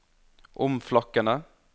omflakkende